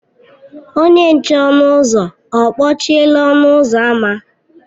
Onye nche ọnụ ụzọ ọ kpọchiela ọnụ ụzọ ámá?